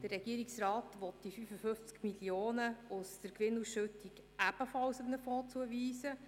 Der Regierungsrat will die 55 Mio. Franken aus der Gewinnausschüttung ebenfalls einem Fonds zuweisen.